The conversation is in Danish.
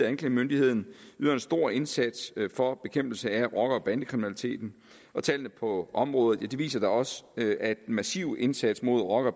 anklagemyndigheden yder en stor indsats for bekæmpelse af rocker og bandekriminaliteten og tallene på området viser da også at den massive indsats mod rocker og